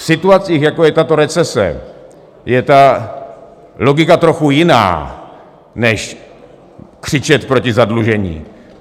V situacích, jako je tato recese, je ta logika trochu jiná než křičet proti zadlužení.